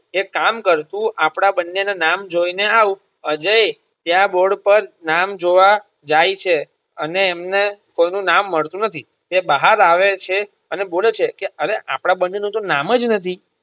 એક કામ કર તું આપડા બંને ના નામે જોઈ ને આવ અજય ત્યાં board નામ જોવા જાય છે અને એમને કોઈનું નામ મળતું નથી તે બહાર આવે છે અને બોલે છે કે અરે આપડા બંને નું તો નામ જ નથી.